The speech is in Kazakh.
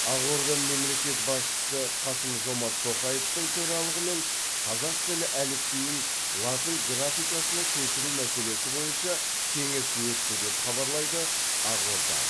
ақорда мемлекет басшысы қасым жомарт тоқаевтың төралығымен қазақ тілі әліпбиін латын графикасына көшіру мәселесі бойынша кеңес өтті деп хабарлайды ақорда